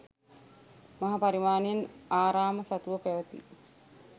මහා පරිමාණයෙන් ආරාම සතුව පැවති